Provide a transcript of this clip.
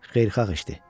Xeyirxah işdir.